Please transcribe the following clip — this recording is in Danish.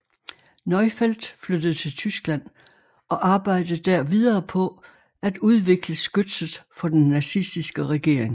Neufeldt flyttede til Tyskland og arbejdede der videre på at udvikle skytset for den nazistiske regering